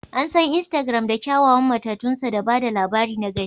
An san Instagram da kyawawan matatunsa da ba da labari na gani